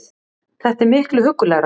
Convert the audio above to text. Þetta er miklu huggulegra